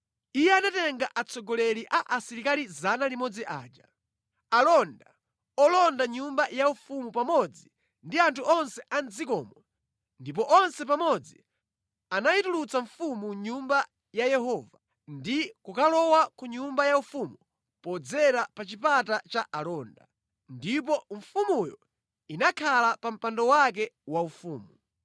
Iye anatenga atsogoleri a asilikali 100 aja, alonda olonda nyumba yaufumu pamodzi ndi anthu onse a mʼdzikomo ndipo onse pamodzi anayitulutsa mfumu mʼNyumba ya Yehova ndi kukalowa ku nyumba yaufumu podzera pa chipata cha alonda. Ndipo mfumuyo inakhala pa mpando wake waufumu.